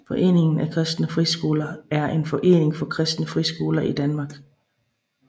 Foreningen af Kristne Friskoler er en forening for kristne friskoler i Danmark